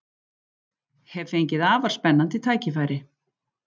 Hef fengið afar spennandi tækifæri